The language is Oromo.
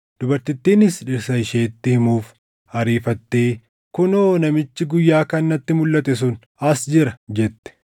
Dubartittiinis dhirsa isheetti himuuf ariifattee, “Kunoo! Namichi guyyaa kaan natti mulʼate sun as jira!” jette.